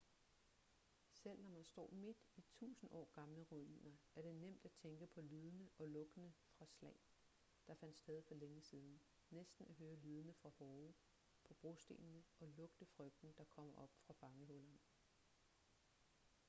selv når man står midt i tusind år gamle ruiner er det nemt at tænke på lydene og lugtene fra slag der fandt sted for længe siden næsten at høre lydene fra hove på brostenene og lugte frygten der kommer op fra fangehullerne